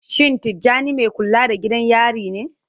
Shin Tijjani mai kula da gidan yari ne?